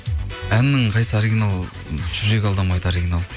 әннің қайсысы оригинал жүрек алдамайды оригинал